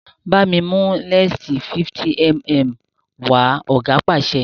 bámi mú lẹnsi 50mm wa! oga pàṣẹ